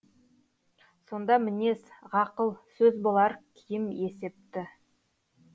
сонда мінез ғақыл сөз болар киім есепті